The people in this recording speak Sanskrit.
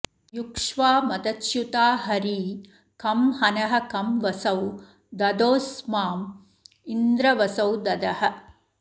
युक्ष्वा मदच्युता हरी कं हनः कं वसौ दधोऽस्माँ इन्द्र वसौ दधः